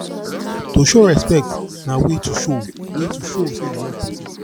to show respect na way to show way to show say you love persin